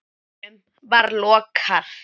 dyrunum var lokað.